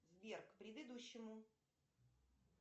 сбер к предыдущему